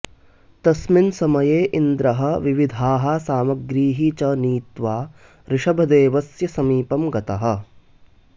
तस्मिन् समये इन्द्रः विविधाः सामग्रीः च नीत्वा ऋषभदेवस्य समीपं गतः